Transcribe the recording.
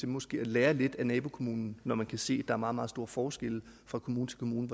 måske at lære lidt af nabokommunen når man kan se at er meget meget store forskelle fra kommune til kommune